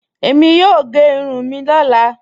Ẹ̀mí yóò gé ìrùn mí ni ọ̀lá.